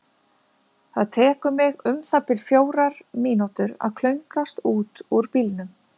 Það tekur mig um það bil fjórar mínútur að klöngrast út úr bílnum.